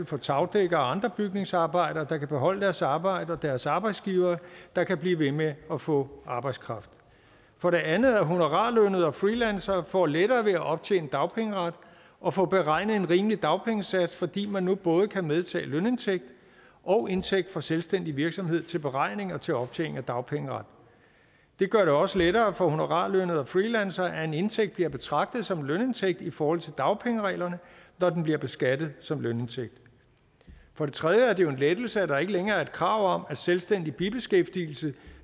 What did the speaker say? for tagdækkere og andre bygningsarbejdere der kan beholde deres arbejde og for deres arbejdsgivere der kan blive ved med at få arbejdskraft for det andet er at honorarlønnede og freelancere får lettere ved at optjene dagpengeret og få beregnet en rimelig dagpengesats fordi man nu både kan medtage lønindtægt og indtægt for selvstændig virksomhed til beregning og til optjening af dagpengeret det gør det også lettere for honorarlønnede og freelancere at en indtægt bliver betragtet som en lønindtægt i forhold til dagpengereglerne når den bliver beskattet som lønindtægt for det tredje en lettelse at der ikke længere er et krav om at selvstændig bibeskæftigelse